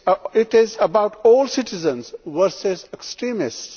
It is about all citizens versus extremists.